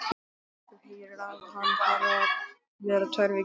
Þú heyrðir að hann þarf að vera tvær vikur í